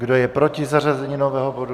Kdo je proti zařazení nového bodu?